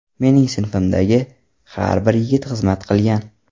Mening sinfimdagi har bir yigit xizmat qilgan.